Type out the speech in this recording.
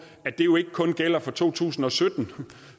at det jo ikke kun gælder for to tusind og sytten